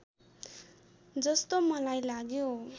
जस्तो मलाई लाग्यो